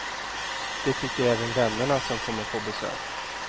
Det tycker även vännerna som kommer på besök.